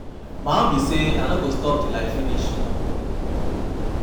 My own be say I no go stop till I finish